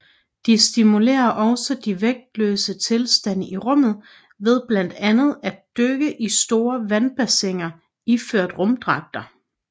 De simulerer også de vægtløse tilstande i rummet ved blandt andet at dykke i store vandbassiner iført rumdragter